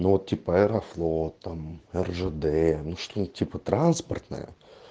ну типа аэрофлот там ржд ну что-то типа транспортное